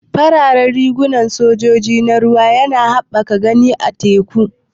Fararen riguna na sojan ruwa suna haɓaka gani a teku.